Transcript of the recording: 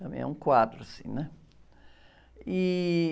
Também é um quadro, assim, né? E...